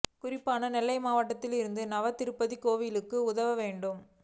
குறிப்பாக நெல்லை மாவட்டத்தில் இருக்கும் நவ திருப்பதி கோவில்களுக்கு உதவேண்டும்